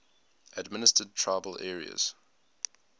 administered tribal areas